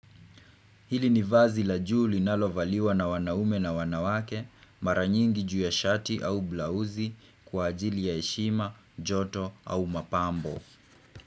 Hili ni vazi la juu linalovaliwa na wanaume na wanawake mara nyingi juu ya shati au blauzi kwa ajili ya heshima, joto au mapambo.